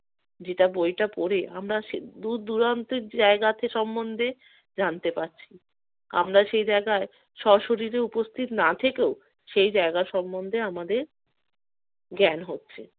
যেটা বইটা পড়ে আমরা সে দূর দূরান্তের জায়গাটি সম্বন্ধে জানতে পারছি। আমরা সে জায়গায় স্বশরীরে উপস্থিত না থেকেও সেই জায়গা সম্বন্ধে আমাদের জ্ঞান হচ্ছে।